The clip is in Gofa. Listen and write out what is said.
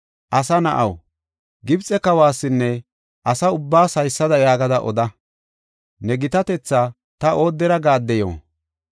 “Asa na7aw, Gibxe kawasinne asa ubbaas haysada yaagada oda: ‘Ne gitatetha ta oodera gaaddeyo?’ ”